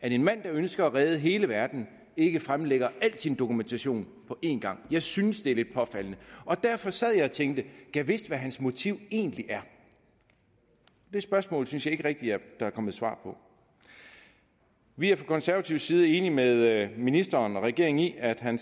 at en mand der ønsker at redde hele verden ikke fremlægger al sin dokumentation på én gang jeg synes det er lidt påfaldende derfor sad jeg og tænkte gad vidst hvad hans motiv egentlig er det spørgsmål synes jeg ikke rigtig at der er kommet svar på vi er fra konservativ side enige med ministeren og regeringen i at han